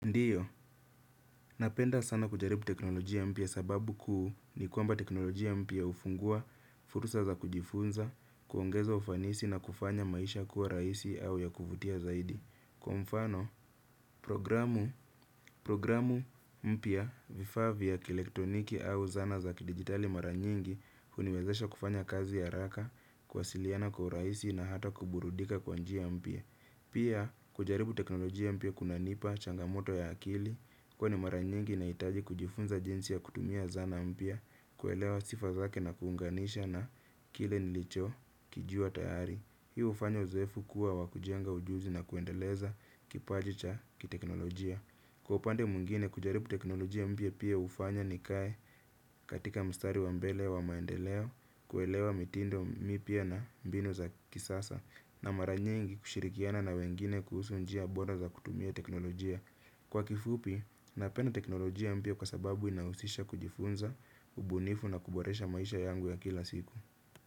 Ndiyo, napenda sana kujaribu teknolojia mpya sababu kuu ni kwamba teknolojia mpya hufungua, fursa za kujifunza, kuongeza ufanisi na kufanya maisha kuwa rahisi au ya kuvutia zaidi. Kwa mfano, programu mpya, vifaa vifaa vya kielektoniki au zana za kidijitali mara nyingi huniwezesha kufanya kazi haraka, kuwasiliana kwa urahisi na hata kuburudika kwa njia mpya. Pia kujaribu teknolojia mpya kunanipa changamoto ya akili, huwa ni mara nyingi nahitaji kujifunza jinsi ya kutumia zana mpya, kuelewa sifa zake na kuunganisha na kile nilichokijua tayari. Hii hufanya uzoefu kuwa wa kujenga ujuzi na kuendeleza kipaji cha kiteknolojia. Kwa upande mwingine, kujaribu teknolojia mpya pia hufanya nikae katika mstari wa mbele wa maendeleo kuelewa mitindo mpya na mbinu za kisasa. Na mara nyingi kushirikiana na wengine kuhusu njia bora za kutumia teknolojia. Kwa kifupi, napenda teknolojia mpya kwa sababu inahusisha kujifunza, ubunifu na kuboresha maisha yangu ya kila siku.